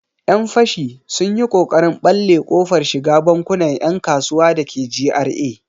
Yan fashi sun yi ƙoƙarin ɓalle kofar shiga bankunan 'yan kasuwa dake GRA.